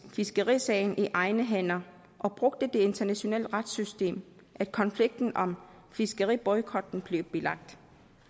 fiskerisagen i egne hænder og brugte det internationale retssystem at konflikten om fiskeriboykotten blev bilagt